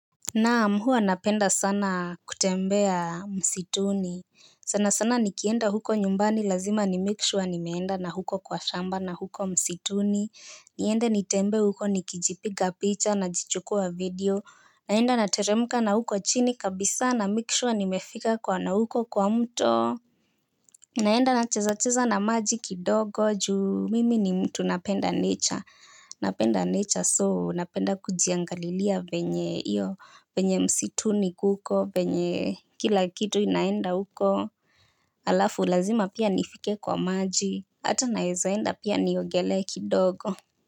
Naam huwa napenda sana kutembea msituni sana sana nikienda huko nyumbani lazima ni make sure nimeenda na huko kwa shamba na huko msituni niende nitembee huko nikijipiga picha najichukua video naenda na teremka na huko chini kabisa na make sure nimefika kwa na huko kwa mto naenda na cheza cheza na maji kidogo juu mimi ni mtu napenda nature. Napenda nature so napenda kujiangalilia venye iyo venye msituni kuko venye kila kitu inaenda huko. Alafu lazima pia nifike kwa maji. Hata naweza enda pia niogelee kidogo.